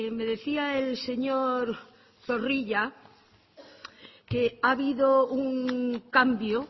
me decía el señor zorrilla que ha habido un cambio